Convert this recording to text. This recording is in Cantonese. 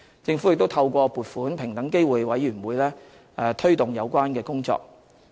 政府亦透過撥款平等機會委員會推動有關工作。